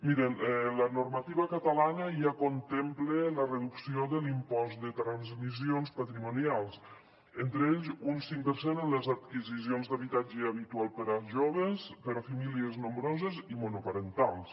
mirin la normativa catalana ja contempla la reducció de l’impost de transmissions patrimonials entre ells un cinc per cent en les adquisicions d’habitatge habitual per a joves per a famílies nombroses i monoparentals